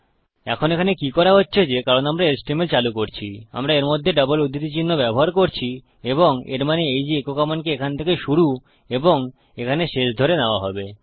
এখন এখানে কি হচ্ছে যে কারণ আমরা এচটিএমএল চালু করছি আমরা এর মধ্যে ডাবল উধৃতি চিহ্ন ব্যবহার করছি এবং এর মানে এই যে ইকো কমান্ডকে এখান থেকে শুরু এবং এখানে শেষ ধরে নেওয়া হবে